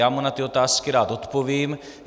Já mu na ty otázky rád odpovím.